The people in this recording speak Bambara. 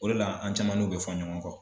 O le la an caman n'u bɛ fɔn ɲɔgɔn kɔ.